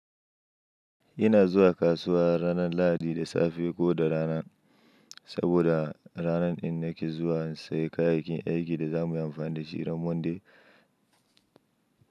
Ina zuwa kasuwa ranar Lahadi da safe ko da rana, saboda ranar in nake zuwa insai kayayyakin aikin da za mu yi amfani da shi ranar Monday.